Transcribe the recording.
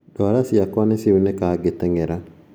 Nduara ciakwa ni ciaunĩka ngĩteng'era